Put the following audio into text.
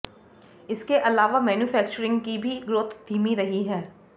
इसके अलावा मैन्युफैक्चरिंग की भी ग्रोथ धीमी रही है